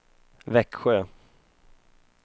Växjö